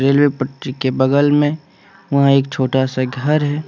Rail पटरी के बगल में वहां एक छोटा सा घर है।